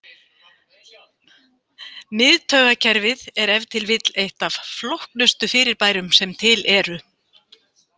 Miðtaugakerfið er ef til vill eitt af flóknustu fyrirbærum sem til eru.